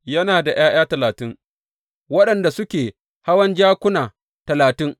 Yana ’ya’ya talatin, waɗanda suke hawan jakuna talatin.